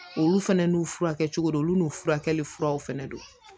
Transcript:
Olu fana n'u furakɛcogo dɔn olu n'u furakɛli furaw fana don